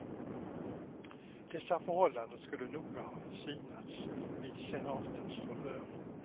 Dessa förhållanden skulle noga ha synats vid senatens förhör.